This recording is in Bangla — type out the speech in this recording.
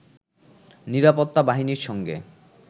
নিরাপত্তা বাহিনীর সঙ্গে